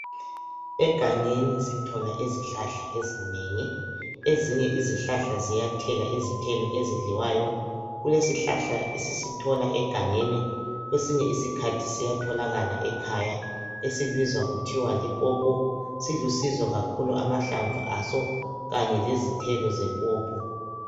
Egangeni sithola izihlahla ezinengi ezinye izihlahla ziyathela izithelo ezidliwayo, kule sihlahla esisithola egangeni kwesinye isikhathi siyatholakala ekhaya esibizwa kuthiwa lipopo, silusizo kakhulu amahlamvu aso kanye lezithelo zepopo.